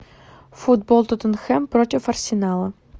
футбол тоттенхэм против арсенала